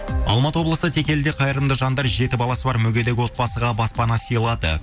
алматы облысы текеліде қайырымды жандар жеті баласы бар мүгедек отбасыға баспана сыйлады